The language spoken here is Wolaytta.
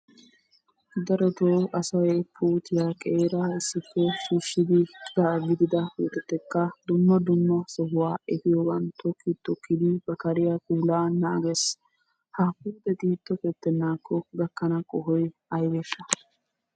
Darotto asay puutiyaa qeera issippe shiishshidi cora gidida puutetakka dumma dumma sohuwa efiyoogan tokki tokkidi ba kariyaa puulaa naagees. Ha puuteti tokketenakko gakana qohoy aybbeshsha?